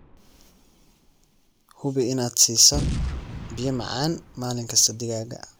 Hubi inaad siiso biyo macaan maalin kasta digaaga.